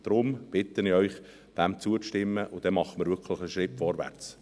Deshalb bitte ich Sie, zuzustimmen, dann machen wir wirklich einen Schritt vorwärts.